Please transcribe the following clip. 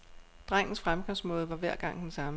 Drengens fremgangsmåde var hver gang den samme.